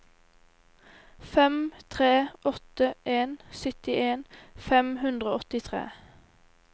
fem tre åtte en syttien fem hundre og åttitre